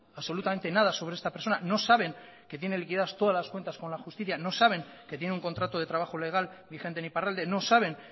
absolutamente nada sobre esta persona no saben que tiene liquidadas todas las cuentas con la justicia no saben que tiene un contrato de trabajo legal vigente en iparralde no saben